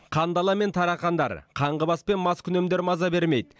қандала мен тарақандар қаңғыбас пен маскүнемдер маза бермейді